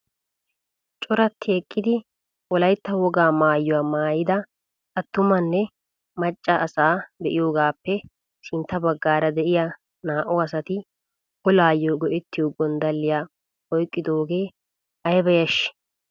Corati eqqidi wolaytta wogaa maayuwaa maayida attumanna macca asaa be'iyoogappe sintta baggaara de'iyaa naa"u asati olaayoo go"ettiyoo gonddaliyaa oyqqidoogee ayba yashshii!